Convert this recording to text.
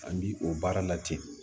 An bi o baara la ten